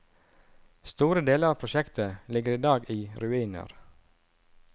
Store deler av prosjektet ligger i dag i ruiner.